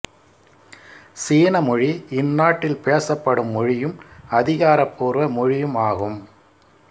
சீன மொழி இந்நாட்டில் பேசப்படும் மொழியும் அதிகாரப்பூர்வ மொழியும் ஆகும்